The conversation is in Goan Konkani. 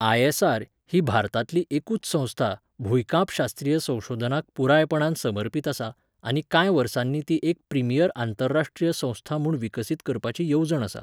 आय.एस.आर. ही भारतांतली एकूच संस्था भूंयकांपशास्त्रीय संशोधनाक पुरायपणान समर्पीत आसा आनी कांय वर्सांनी ती एक प्रिमियर आंतरराश्ट्रीय संस्था म्हूण विकसीत करपाची येवजण आसा.